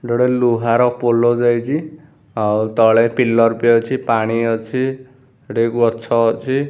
ଏଠି ଗୋଟେ ଲୁହାର ପୋଲ ଯାଇଛି ଆଉ ତଳେ ପିଲର୍‌ ବି ଅଛି ପାଣି ଅଛି ଏଠି ଗଛ ଅଛି ।